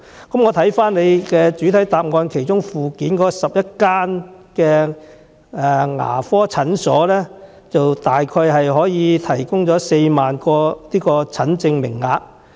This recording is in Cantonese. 根據主體答覆附件所載，全港11間牙科診所大約可以提供4萬個診症名額。